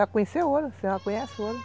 Já conhece o ouro, você já conhece o ouro.